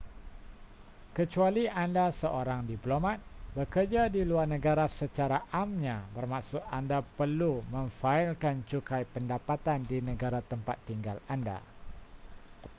kecuali anda seorang diplomat bekerja di luar negara secara amnya bermaksud anda perlu memfailkan cukai pendapatan di negara tempat tinggal anda